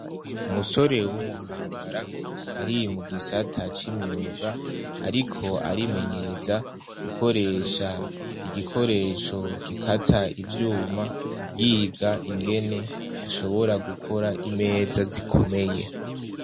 Umusore w'umukangara ari mu gisata c'imyuga, ariko arimenyereza gukoresha igikoresho gikata ivyuma yiga ingene ashobora gukora imeza zikomeye.